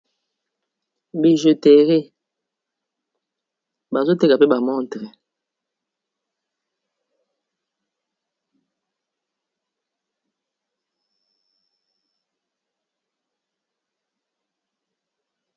Bijouteri bazoteka pe bamontre